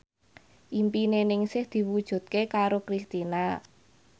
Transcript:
impine Ningsih diwujudke karo Kristina